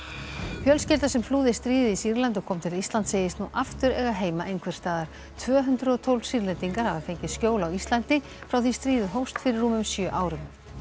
fjölskylda sem flúði stríðið í Sýrlandi og kom til Íslands segist nú aftur eiga heima einhvers staðar tvö hundruð og tólf Sýrlendingar hafa fengið skjól á Íslandi frá því stríðið hófst fyrir rúmum sjö árum